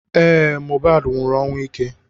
Ee, Mohbad nwụrụ ọnwụ ike